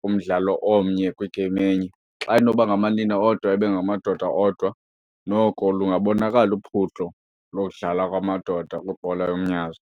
kumdlalo omnye kwi-game enye. Xa inoba ngamanina odwa, ibe ngamadoda odwa noko lungabonakala uphuhlo lodlala kwamadoda kwibhola yomnyazi.